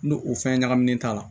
N'o o fɛn ɲagaminen t'a la